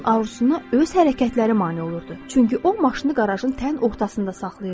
Onun arzusuna öz hərəkətləri mane olurdu, çünki o maşını qarajın tən ortasında saxlayırdı.